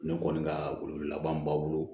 Ne kɔni ka weleweleba min b'a bolo